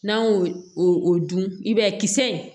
N'an y'o o dun i b'a ye kisɛ